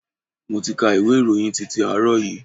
Mo ti ka ìwé ìròyìn titi àárọ̀ yìí.